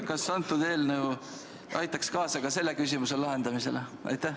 Kas antud eelnõu aitaks kaasa ka selle küsimuse lahendamisele?